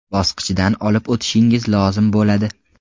bosqichidan olib o‘tishingiz lozim bo‘ladi.